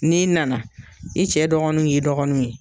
N'i nana, i cɛ dɔgɔninw y'i dɔgɔnin ye.